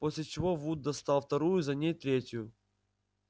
после чего вуд достал вторую за ней третью